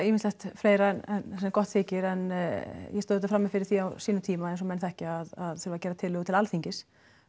margt fleira en gott þykir en ég stóð auðvitað frammi fyrir því á sínum tíma eins og menn þekkja að þurfa gera tillögu til Alþingis